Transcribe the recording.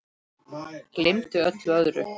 Gleymdi öllu öðru.